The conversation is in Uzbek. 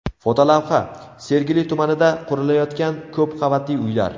Fotolavha: Sergeli tumanida qurilayotgan ko‘p qavatli uylar.